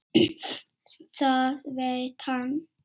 Það veit hann.